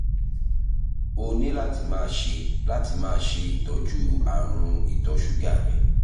o ní láti máa ṣe láti máa ṣe ìtọ́jú àrùn ìtọ̀ ṣúgà rẹ